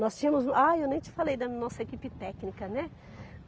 Nós tínhamos... Ah, e eu nem te falei da nossa equipe técnica, né?